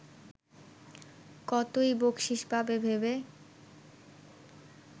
কতই বকশিশ পাবে ভেবে